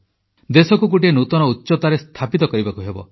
ଦେଶକୁ ଗୋଟିଏ ନୂତନ ଉଚ୍ଚତାରେ ସ୍ଥାପିତ କରିବାକୁ ହେବ